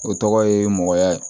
O tɔgɔ ye mɔgɔyaye